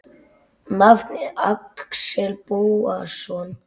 Nafn: Axel Bóasson